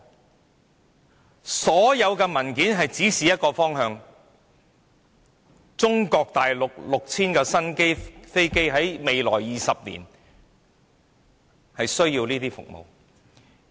就此，其實所有文件也是指示一個方向，就是中國大陸這 6,000 架新飛機在未來20年需要的服務。